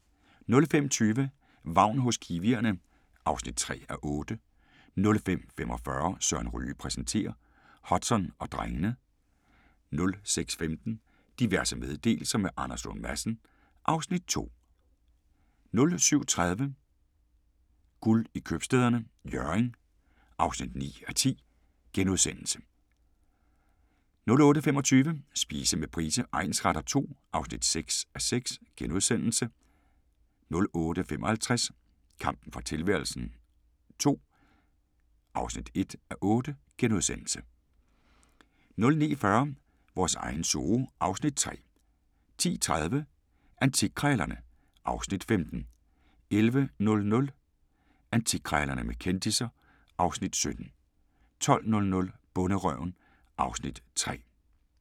05:20: Vagn hos kiwierne (3:8) 05:45: Søren Ryge præsenterer - Hudson og drengene 06:15: Diverse meddelelser – med Anders Lund Madsen (Afs. 2) 07:30: Guld i Købstæderne – Hjørring (9:10)* 08:25: Spise med Price egnsretter II (6:6)* 08:55: Kampen for tilværelsen II (1:8)* 09:40: Vores egen zoo (Afs. 3) 10:30: Antikkrejlerne (Afs. 15) 11:00: Antikkrejlerne med kendisser (Afs. 17) 12:00: Bonderøven (Afs. 3)